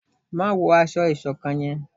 má wọ aṣọ ìṣọ̀kan yén!